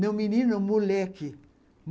Não menino, moleque.